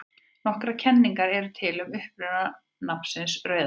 Nokkrar kenningar eru til um uppruna nafnsins Rauðahaf.